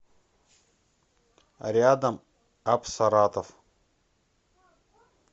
рядом апсаратов